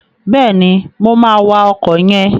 Bẹ́ẹ̀ni, mo máa wa ọkọ̀ yẹn.